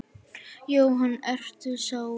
Jóhann: Ertu sár?